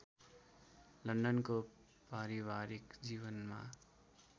लन्डनको पारिवारिक जीवनमा